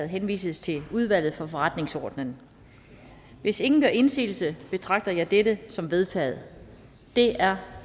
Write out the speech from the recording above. henvises til udvalget for forretningsordenen hvis ingen gør indsigelse betragter jeg dette som vedtaget det er